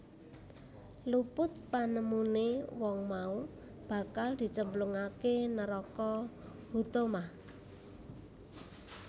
Luput panemune wong mau bakal dicemplungake neraka Huthomah